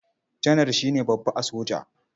Janar shi ne babba a sojoji.